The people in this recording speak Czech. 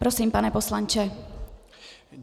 Prosím, pane poslanče.